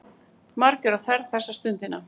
Margir á ferð þessa stundina.